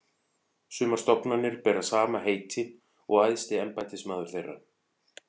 Sumar stofnanir bera sama heiti og æðsti embættismaður þeirra.